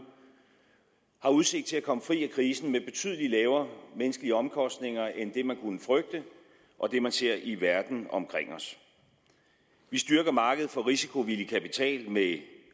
har udsigt til at komme fri af krisen med betydelig lavere menneskelige omkostninger end det man kunne frygte og det man ser i verden omkring os vi styrker markedet for risikovillig kapital med